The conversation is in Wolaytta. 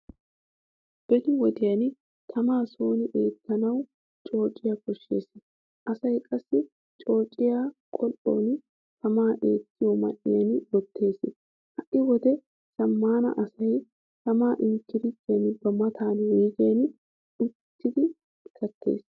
Beni wodiyan tamaa sooni eettanawu coocciya koshshees. Asay qassi coocciyaa qol'oni tama eettiyo man'iyan wottees. Ha'i wode zamaanin asay tama inkkirittiyan ba matan wuyggen eettidi kattees.